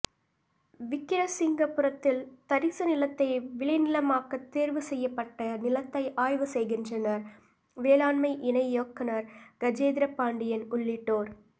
விக்கிரசிங்கபுரத்தில் தரிசு நிலத்தை விளைநிலமாக்க தோ்வு செய்யப்பட்ட நிலத்தை ஆய்வு செய்கின்றனா் வேளாண்மை இணை இயக்குநா் கஜேந்திரபாண்டியன் உள்ளிட்டோா்